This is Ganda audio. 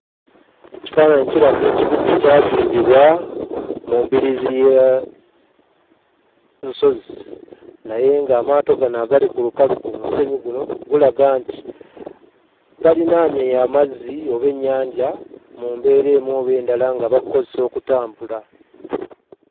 Ekifaananyi kiraga ekibuga ekyazimbibwa mu mbiriizi ya nsozi naye ng'amaato gano agali ku lukalu ku musenyu guno gulaga nti balinaanye amazzi oba ennyanja mu mbeera emu oba endala nga bagukozesa okutambula.